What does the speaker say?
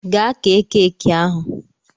Gaa kee keeki ahụ!